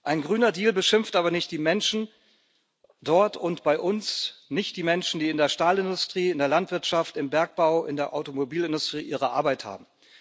Ein Grüner Deal beschimpft aber nicht die Menschen dort und bei uns nicht die Menschen, die in der Stahlindustrie, in der Landwirtschaft, im Bergbau, in der Automobilindustrie ihre Arbeit haben.